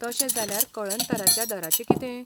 तशें जाल्यार कळंतराच्या दराचें कितें?